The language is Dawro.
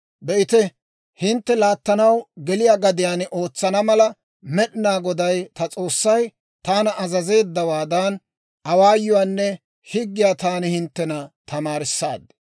«Be'ite, hintte laattanaw geliyaa gadiyaan ootsana mala, Med'inaa Goday, ta S'oossay taana azazeeddawaadan, awaayuwaanne higgiyaa taani hinttena tamaarissaad.